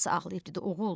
Atası ağlayıb dedi: